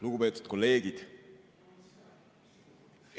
Lugupeetud kolleegid!